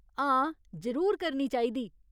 हां, जरूर करनी चाहिदी।